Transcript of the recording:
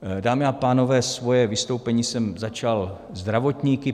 Dámy a pánové, svoje vystoupení jsem začal zdravotníky.